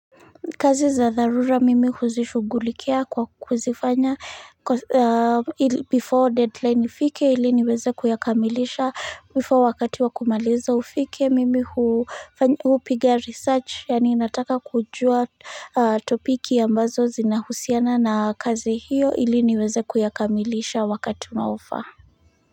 Kazi za dharura mimi huzishugulikia kwa kuzifanya before deadline ifike ili niweze kuyakamilisha before wakati wa kumaliza ufike mimi hupiga research yaani nataka kujua topiki ambazo zinahusiana na kazi hiyo ili niweze kuyakamilisha wakati unaofa.